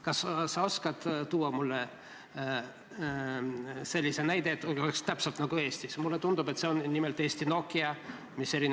Kas sa oskad tuua mulle sellise näite riigist, kus oleks täpselt selline süsteem nagu Eestis?